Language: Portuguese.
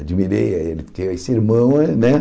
Admirei ele, porque esse irmão eh, né?